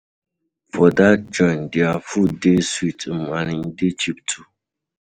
For dat joint, there food dey sweet um and e dey cheap too.